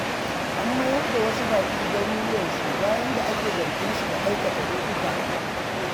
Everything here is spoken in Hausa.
An mayar da wasu baƙi garuruwansu, bayan da ake zargin su da aikata laifuka.